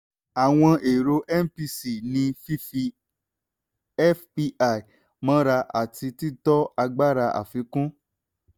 àwọn erò mpc ni fífi fpi mọ́ra àti títọ́ agbára àfikún.